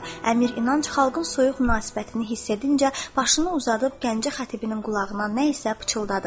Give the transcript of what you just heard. Əmir İnanc xalqın soyuq münasibətini hiss edincə başını uzadıb Gəncə xətibinin qulağına nə isə pıçıldadı.